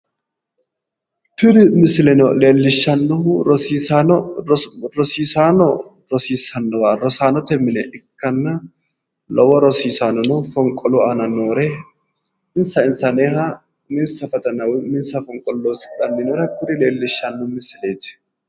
tini misileno leellishshannohu rosiisaano rosiissannowa rosu mine ikkanna lowo rosaannono fonqolu aana noore insa insaneeha uminsa fonqolo loosidhanni nooha leellishshanno misileeti.